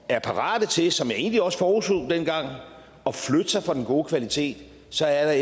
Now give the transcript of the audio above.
er parate til som jeg egentlig også forudså dengang at flytte sig fra den gode kvalitet så er